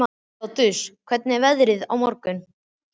Lótus, hvernig verður veðrið á morgun?